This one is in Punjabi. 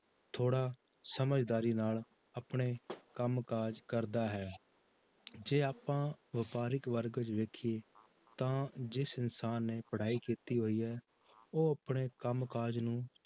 ਥੋੜ੍ਹਾ ਸਮਝਦਾਰੀ ਨਾਲ ਆਪਣੇ ਕੰਮ ਕਾਜ ਕਰਦਾ ਹੈ ਜੇ ਆਪਾਂ ਵਪਾਰਿਕ ਵਰਗ ਵਿੱਚ ਵੇਖੀਏ ਤਾਂ ਜਿਸ ਇਨਸਾਨ ਨੇ ਪੜ੍ਹਾਈ ਕੀਤੀ ਹੋਈ ਹੈ ਉਹ ਆਪਣੇ ਕੰਮ ਕਾਜ ਨੂੰ